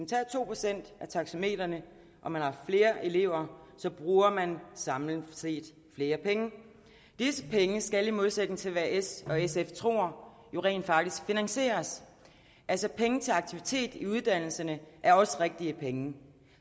tager to procent af taxametrene og man har flere elever bruger man samlet set flere penge disse penge skal i modsætning til hvad s og sf tror jo rent faktisk finansieres altså penge til aktivitet i uddannelserne er også rigtige penge